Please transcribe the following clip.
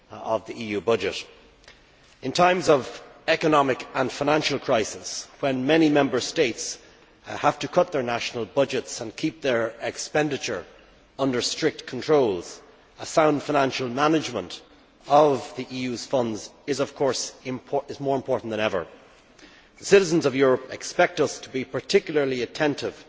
of the EU Budget. In times of economic and financial crisis, when many Member States have to cut their national budgets and keep their expenditure under strict control, sound financial management of EU funds is more important than ever. The citizens of Europe expect us to be particularly attentive